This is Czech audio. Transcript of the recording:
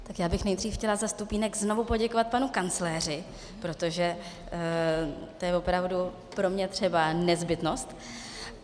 Tak já bych nejdřív chtěla za stupínek znovu poděkovat panu kancléři, protože to je opravdu pro mě třeba nezbytnost.